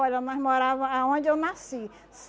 Olha, nós morávamos aonde eu nasci.